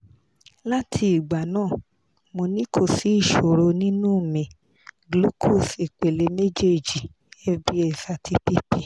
lati igba naa mo ni ko si isoro ninu mi glucose ipele mejeeji fbs ati pp